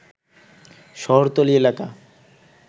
শহরতলী এলাকা